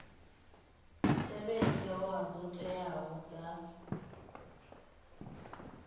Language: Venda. tevhedze hoea dzo teaho dza